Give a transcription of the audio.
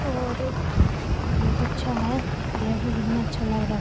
और बहुत अच्छा है देखो कितना अच्छा लग रहा है।